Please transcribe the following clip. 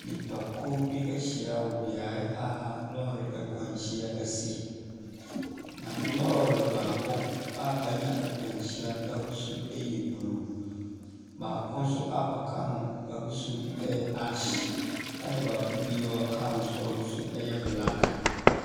Nnipa kuo bi ahyia wɔ beaeɛ a lɔri akwanhyia asi. Na lorry baako a anya akwanhyia no ahosuo ɛyɛ blue. Baako nso a ɔka ho ahosu ɛyɛ ash ɛna baako a ɔka ho nso ahosu ɛyɛ black.